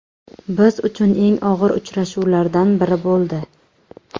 Biz uchun eng og‘ir uchrashuvlardan biri bo‘ldi.